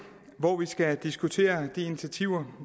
hvor vi skal diskutere de initiativer